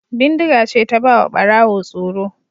Bindiga ce ta ba wa Ɓarawo tsoro.